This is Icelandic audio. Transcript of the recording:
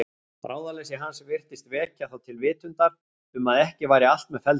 Ráðaleysi hans virtist vekja þá til vitundar um að ekki væri allt með felldu.